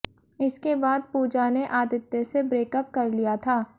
इसके बाद पूजा ने आदित्य से ब्रेकअप कर लिया था